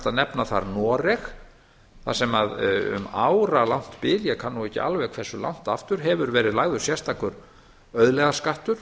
að nefna þar noreg þar sem að um áralangt bil ég kann nú ekki alveg hversu langt aftur hefur verið lagður sérstakur auðlegðarskattur